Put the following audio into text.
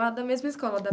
Da da mesma escola?